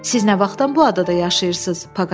Siz nə vaxtdan bu adada yaşayırsınız?